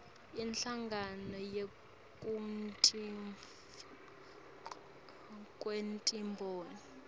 inhlangano yekutfutfukiswa kwetimboni